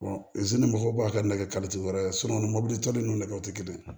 ni mɔgɔw b'a kɛ nɛgɛ kalifoji wɛrɛ mobili to n'o nɛgɛ te kelen ye